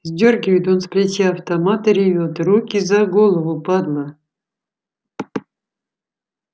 сдёргивает он с плеча автомат и ревёт руки за голову падла